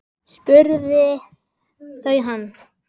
spurðu þau hann.